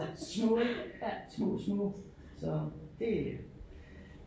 Små små små så det